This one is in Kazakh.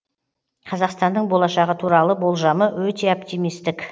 қазақстанның болашағы туралы болжамы өте оптимисттік